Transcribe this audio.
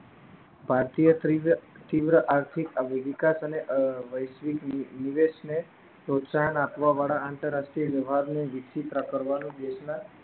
ભારતીય તીવ્ર આર્થિક અભિવિકાસ અને વૈશ્વિક નિવેશ ને પ્રોત્સાહન આપવા વાળા આંતરરાષ્ટ્રીય લોહરનુ કરવાનું